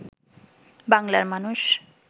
বাংলার মানুষ